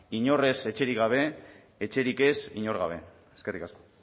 inork ez etxerik gabe etxerik ez inor gabe eskerrik asko